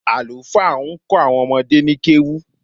Àlùfáà ń kó àwọn ọmọdé ni kéwú